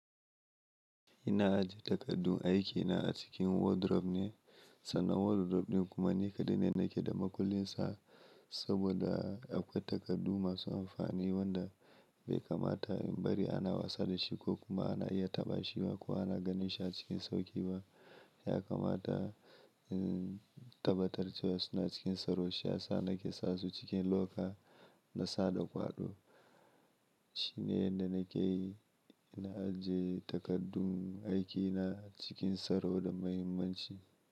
Ina ajiye takardun aikina a cikin wardrobe ne, sannan wardrobe ɗin kuma ni kaɗai ne nake da makullin sa saboda akwai takardu masu amfani wanda bai kamata in bari ana wasa da shi ko kuma ana iya taɓa shi ba ko ana ganin shi a cikin sauƙi ba. Ya kamata in tabbatar da suna cikin saro, shi ya sa na ke sa su cikin loka na sada kwaɗo. Shi ne yadda na ke ajiye takardun aikina cikin tsaro da muhimmanci.